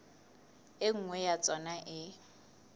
e nngwe ya tsona e